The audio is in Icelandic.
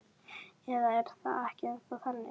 Eða er það ekki ennþá þannig?